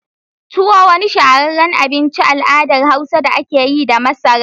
Tuwo wani shahara abinci al’adar Hausa da ake yi da masara.